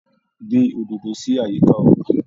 Gbin òdòdó si àyíká ọgbà.